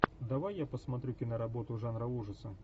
давай я посмотрю киноработу жанра ужасы